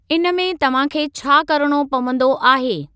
इनमें तव्हां खे छा करणो पवंदो आहे?